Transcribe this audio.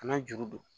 Kana juru don